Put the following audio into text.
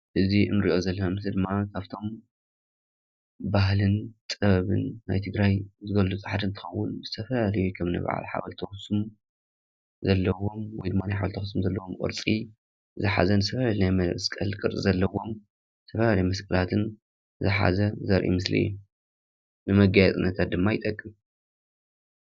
እዚ ንሪኦ ዘለና ምስሊ ድማ ካብቶም ባህልን ጥበብን ናይ ትግራይ ዝገልፁ ሓደ እንትኸውን ዝተፈላለዩ ከም እኒ በዓል ሓወልቲ ኣኽሱም ዘለዎም ወይ ድማ ናይ ሓወልቲ ኣኽሱም ዘለዎም ቅርፂ ዝሓዘን ዝተፈላለየ ናይ መስቀል ቅርፂ ዘለዎም ዝተፈላለየ መስቀላትን ዝሓዘ ዘርኢ ምስሊ እዩ፡፡ ንመጋየፅነት ድማ ይጠቅም።